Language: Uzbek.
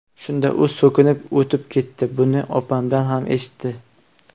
Shunda u so‘kinib o‘tib ketdi, buni opam ham eshitdi.